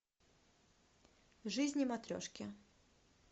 жизни матрешки